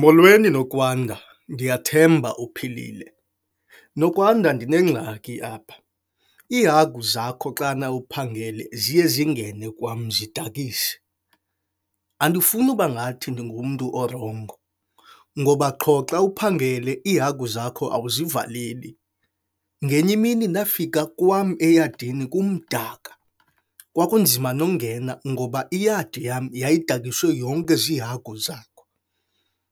Molweni, Nokwanda, ndiyathemba uphilile. Nokwanda, ndinengxaki apha iihagu zakho xana uphangele ziye zingene kwam zidakise. Andifuni uba ngathi ndingumntu orongo ngoba qho xa uphangele iihagu zakho awuzivaleli. Ngenye imini ndafika kwam eyadini kumdaka, kwakunzima nongena ngoba iyadi yam yadakiswe yonke ziihagu zakho.